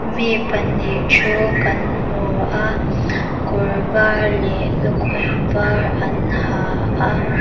mi pahnih thu kan hmu a kawr var leh lukhum var an ha a.